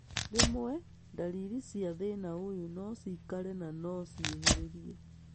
Rwĩmwe, ndariri cia thĩna ũyũ nocikare na no ciĩhĩrĩrie